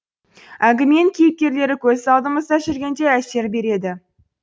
әңгіменің кейіпкерлері көз алдымызда жүргендей әсер береді